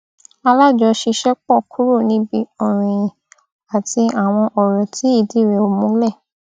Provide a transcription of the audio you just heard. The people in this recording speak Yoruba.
alájọṣiṣẹpọ kúrò níbi ọrọ ẹyin àti àwọn ọrọ tí ìdí rẹ ò múlẹ